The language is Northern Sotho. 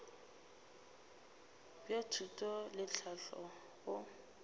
bja thuto le tlhahlo go